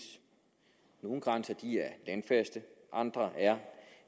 nogle grænser er landfaste andre er